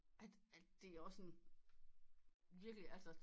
Er det det er også en virkelig altså